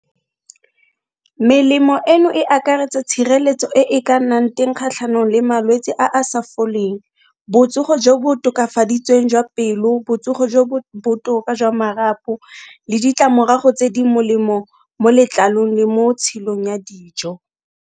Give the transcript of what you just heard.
Melemo e no e akaretsa tshireletso e e ka nnang teng kgatlhanong le malwetsi a a sa foleng, botsogo jo bo tokafaditsweng jwa pelo, botsogo jo bo botoka jwa marapo le ditlamorago tse di molemo mo letlalong le mo tshilong ya dijo.